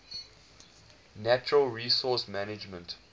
natural resource management